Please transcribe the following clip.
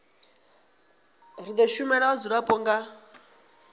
ri do shumela vhadzulapo nga